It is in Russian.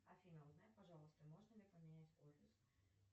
афина узнай пожалуйста можно ли поменять офис